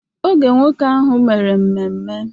Oge nwoke ahụ mere mmemme...